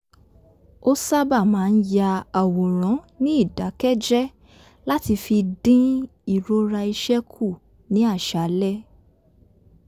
ó sábà máa ń ya àwòrán ní ìdákẹ́jẹ́ẹ́ láti fi dín ìrora iṣẹ́ kù ní àṣálẹ́